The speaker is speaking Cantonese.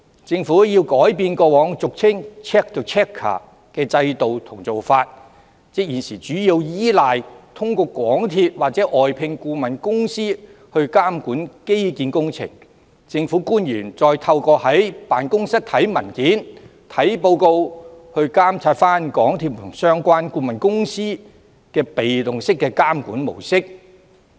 政府需要改變過往俗稱 check the checker 的制度和做法，即現時主要依賴通過港鐵或外聘顧問公司監管基建工程，而政府官員透過在辦公室閱讀文件和報告來監察港鐵和相關顧問公司的被動式監管模式。